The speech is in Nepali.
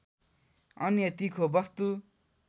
अन्य तीखो वस्तु